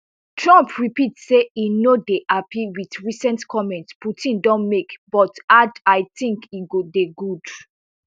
trump repeat say e no dey happy with recent comments putin don make but add i tink e go dey good